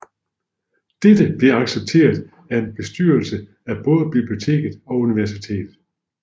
Dette blev accepteret af bestyrelsen af både biblioteket og universitet